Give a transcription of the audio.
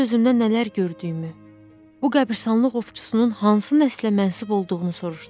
Öz-özümdən nələr gördüyümü, bu qəbiristanlıq ovçusunun hansı nəslə mənsub olduğunu soruşdum.